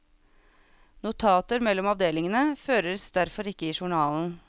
Notater mellom avdelingene føres derfor ikke i journalen.